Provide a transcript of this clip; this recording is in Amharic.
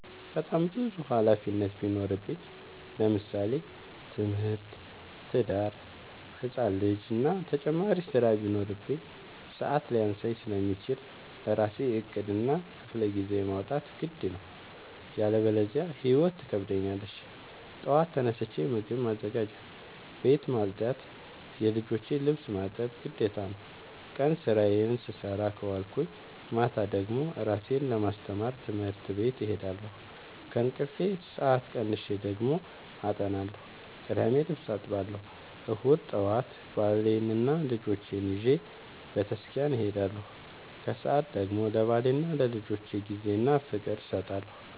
በጣም ብዙ ሀላፊነት ቢኖርብኝ ለምሳሌ፦ ትምህርት፣ ትዳር፣ ህፃን ልጂ እና ተጨማሪ ስራ ቢኖርብኝ። ሰዐት ሊያንሰኝ ስለሚችል ለራሴ ዕቅድ እና ክፍለጊዜ ማውጣት ግድ ነው። ያለበዚያ ህይወት ትከብደኛለች ጠዋት ተነስቼ ምግብ ማዘጋጀት፣ ቤት መፅዳት የልጆቼን ልብስ ማጠብ ግዴታ ነው። ቀን ስራዬን ስሰራ ከዋልኩኝ ማታ ደግሞ እራሴን ለማስተማር ትምህርት ቤት እሄዳለሁ። ከእንቅልፌ ሰአት ቀንሼ ደግሞ አጠናለሁ ቅዳሜ ልብስ አጥባለሁ እሁድ ጠዋት ባሌንና ልጆቼን ይዤ በተስኪያን እሄዳለሁ። ከሰዓት ደግሞ ለባሌና ለልጆቼ ጊዜ እና ፍቅር እሰጣለሁ።